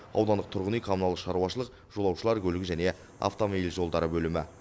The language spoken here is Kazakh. аудандық тұрғын үй коммуналдық шаруашылық жолаушылар көлігі және автомобиль жолдары бөлімі